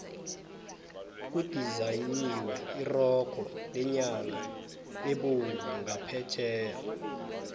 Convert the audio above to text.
kudizayinwe irogo lenyama ebovu ngaphetheya